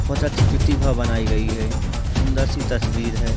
बहुत अच्छी प्रतिभा बनाई गई है सुंदर सी तस्वीर है।